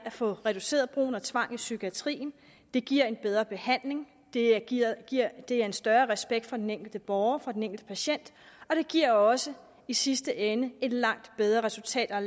få reduceret brugen af tvang i psykiatrien det giver en bedre behandling det giver giver en større respekt for den enkelte borger for den enkelte patient og det giver også i sidste ende et langt bedre resultat og